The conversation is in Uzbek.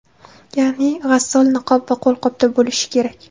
Ya’ni g‘assol niqob va qo‘lqopda bo‘lishi kerak.